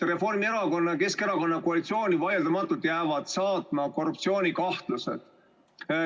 Reformierakonna ja Keskerakonna koalitsiooni jäävad vaieldamatult saatma korruptsioonikahtlused.